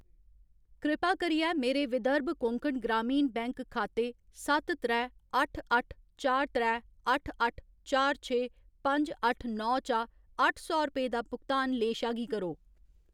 कृपा करियै मेरे विदर्भ कोंकण ग्रामीण बैंक खाते सत्त त्रै अट्ठ अट्ठ चार त्रै अट्ठ अट्ठ चार छे पंज अट्ठ नौ चा अट्ठ सौ रपेऽ दा भुगतान लेशा गी करो।